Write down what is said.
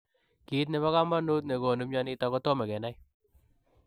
Kiit nepo kamanuut negonuu mionitok kotomo kenai.